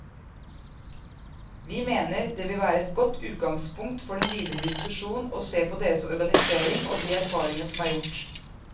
Vi mener det vil være et godt utgangspunkt for den videre diskusjon å se på deres organisering og de erfaringene som er gjort.